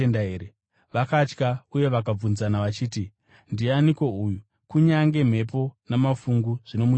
Vakatya uye vakabvunzana vachiti, “Ndianiko uyu? Kunyange mhepo namafungu zvinomuteerera!”